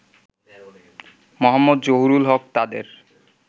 মো. জহুরুল হক তাদের